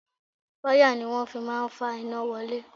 Wáyà ni wọ́n fi máa ń fa iná wọlé